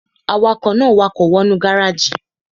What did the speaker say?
Awakọ̀ náà wakọ̀ wọ nú gáràjì